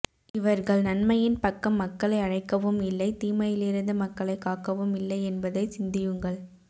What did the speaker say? இவர்கள் நன்மையின் பக்கம் மக்களை அழைக்கவும் இல்லை தீமையிளிரிந்து மக்களை காக்கவும் இல்லை என்பதை சிந்தியுங்கள்